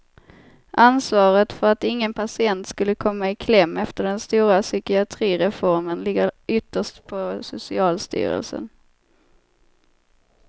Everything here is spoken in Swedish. Ansvaret för att ingen patient skulle komma i kläm efter den stora psykiatrireformen ligger ytterst på socialstyrelsen.